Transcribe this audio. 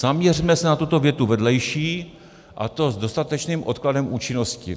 - Zaměřme se na tuto větu vedlejší: a to s dostatečným odkladem účinnosti.